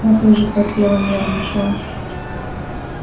москва тоже потела нервничала